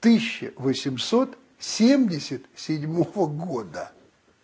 тысяча восемьсот семьдесят седьмого года